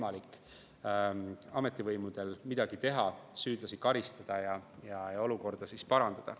Alles siis on ametivõimudel võimalik midagi teha, süüdlasi karistada ja olukorda parandada.